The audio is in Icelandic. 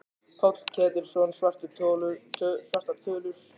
Páll Ketilsson: Svartar tölur?